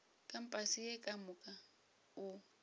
kampase ye ka moka o